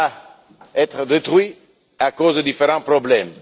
soit détruit à cause de différents problèmes.